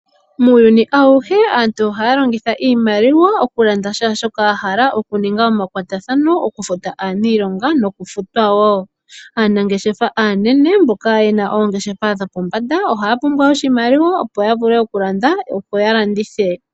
Muuyuuni awuhe aantu ohaya longitha iimaliwa oku landa shaashoka wa hala, oku ninga omakwatathano goku futa aaniilonga noku futwa woo. Aanangeshefa aanene mboka yena oongeshefa dhopombanda ohaya pumbwa oshimaliwa opo ya vule oku landa opo ya landithe.